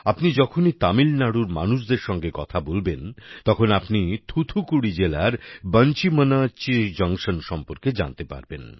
আপনি যখনই তামিলনাড়ুর মানুষদের সঙ্গে কথা বলবেন তখন আপনি থুথুকুড়ি জেলার বাঞ্চি মনিয়াচ্চি জংশন সম্পর্কে জানতে পারবেন